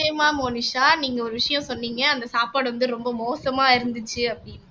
நிச்சயமா மோனிஷா நீங்க ஒரு விஷயம் சொன்னீங்க அந்த சாப்பாடு வந்து ரொம்ப மோசமா இருந்துச்சு அப்படின்னுட்டு